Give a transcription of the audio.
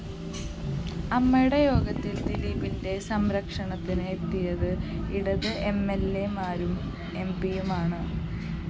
അമ്മയുടെ യോഗത്തില്‍ ദിലീപിന്റെ സംരക്ഷണത്തിന് എത്തിയത് ഇടത് എംഎല്‍എമാരും എംപിയുമാണ്